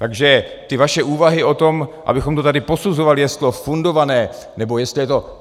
Takže ty vaše úvahy o tom, abychom to tady posuzovali, jestli je to fundované, nebo jestli je to...